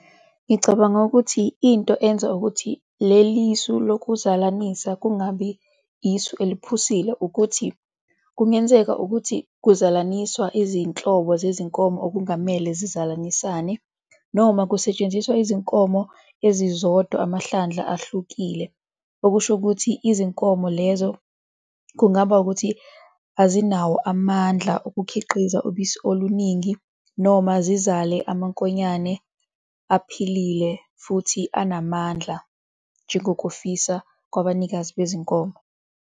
Ngicabanga ukuthi into enza ukuthi lelisu lokuzalanisa kungabi isu eliphusile ukuthi kungenzeka ukuthi kuzalaniswa izinhlobo zezinkomo okungamele zizalanisane noma kusetshenziswa izinkomo ezizodwa amahlandla ahlukile, okusho ukuthi izinkomo lezo kungaba ukuthi azinawo amandla okukhiqiza ubisi oluningi noma zizale amankonyane aphilile futhi anamandla njengokufisa kwabanikazi bezinkomo.